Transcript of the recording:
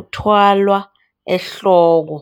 uthwalwa ehloko.